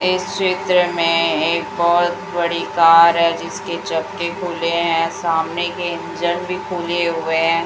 इस चित्र मे एक बहोत बड़ी कार है जिसके चक्के खुले हैं सामने के इंजन भी खुले हुए--